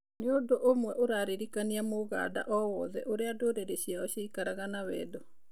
Nĩ ũndũũmwe ũrarĩrĩkania Mũganda o wothe ũrĩa ndũrĩrĩ ciao cĩaikaraga na wendo.